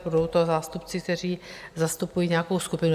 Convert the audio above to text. Budou to zástupci, kteří zastupují nějakou skupinu.